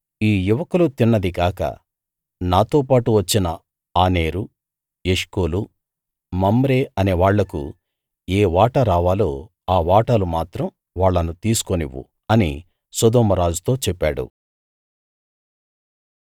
ఈ యువకులు తిన్నది గాక నాతోపాటు వచ్చిన ఆనేరు ఎష్కోలు మమ్రే అనే వాళ్లకు ఏ వాటా రావాలో ఆ వాటాలు మాత్రం వాళ్ళను తీసుకోనివ్వు అని సొదొమ రాజుతో చెప్పాడు